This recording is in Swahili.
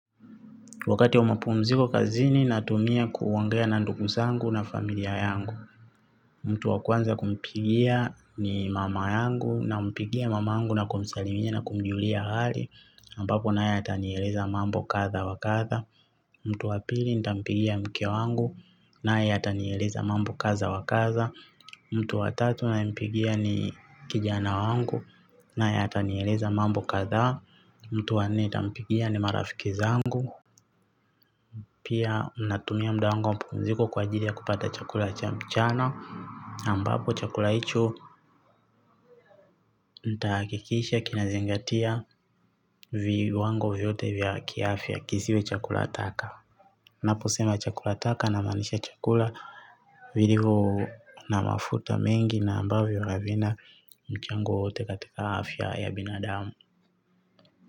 Wakati wa mapumziko kazini natumia kuongea na ndugu zangu na familia yangu. Mtu wa kwanza kumpigia ni mama yangu nampigia mama yangu na kumsalimia na kumjulia hali. Ambapo naye atanieleza mambo kadha wa kadha. Mtu wa pili nitampigia mke wangu naye atanieleza mambo kadha wa kadha. Mtu wa tatu ninayempigia ni kijana wangu naye atanieleza mambo kadha. Mtu wa nne nitampigia ni marafiki zangu. Pia natumia muda wangu wa mapumziko kwa ajili ya kupata chakula cha mchana ambapo chakula hicho nitahakikisha kinazingatia viwango vyote vya kiafya kisiwe chakula taka. Naposema chakula taka namaanisha chakula vilivyo na mafuta mengi na ambavyor havina mchango wowote katika afya ya binadamu.